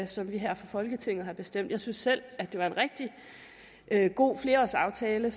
som vi her fra folketinget har bestemt jeg synes selv at det var en rigtig god flerårsaftale